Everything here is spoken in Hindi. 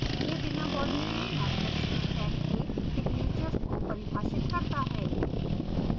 यह बिना body के मैथड्स के set के signatures को परिभाषित करता है